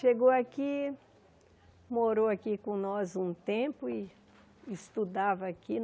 Chegou aqui, morou aqui com nós um tempo e estudava aqui.